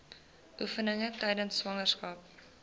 oefeninge tydens swangerskap